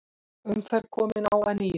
Umferð komin á að nýju